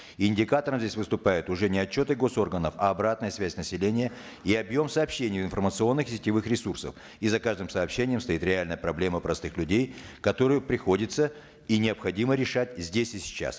индикатором здесь выступают уже не отчеты госорганов а обратная связь населения и объем сообщений информационных сетевых ресурсов и за каждым сообщением стоит реальная проблема простых людей которые приходится и необходимо решать здесь и сейчас